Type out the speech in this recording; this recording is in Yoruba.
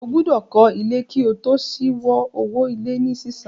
Ó gbọ́dọ̀ kọ́ ilé kí o tó ṣíwo owó ilé ní sísan